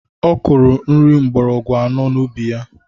Ọ kụrụ nri mgbọrọgwụ anọ n'ubi ya